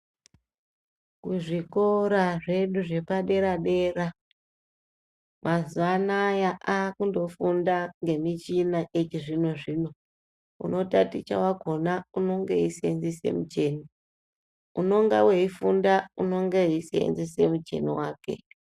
Kuzvikora zvedu zvepadera dera mazuwaanaya akundofunda ngemichina yechizvino zvino unotaticha wakona unenge eisenzesa mucheni unenge eifunda unenege eisenzesa mucheni wake.